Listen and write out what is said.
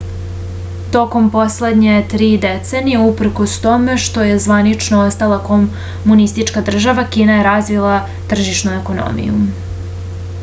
tokom poslednje tri decenije uprkos tome što je zvanično ostala komunistička država kina je razvila tržišnu ekonomiju